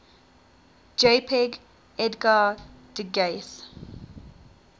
jpg edgar degas